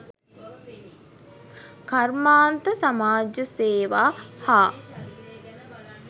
කර්මාන්ත සමාජසේවා හා